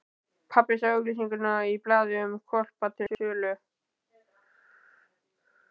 Pabbi sá auglýsingu í blaði um hvolpa til sölu.